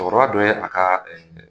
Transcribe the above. Cɛkɔrɔba dɔ ye a ka ɛɛ